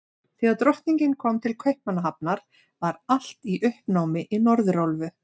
Þegar Drottningin kom til Kaupmannahafnar, var allt í uppnámi í Norðurálfu.